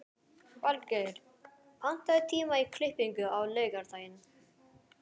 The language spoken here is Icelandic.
Valgeir, pantaðu tíma í klippingu á laugardaginn.